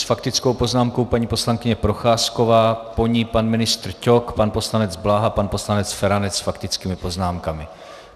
S faktickou poznámkou paní poslankyně Procházková, po ní pan ministr Ťok, pan poslanec Bláha, pan poslanec Feranec s faktickými poznámkami.